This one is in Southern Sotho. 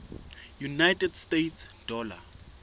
united states dollar